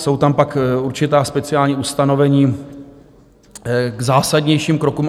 Jsou tam pak určitá speciální ustanovení k zásadnějším krokům.